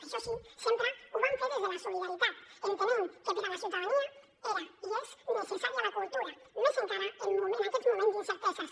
això sí sempre ho van fer des de la solidaritat entenent que per a la ciutadania era i és necessària la cultura més encara en aquests moments d’incerteses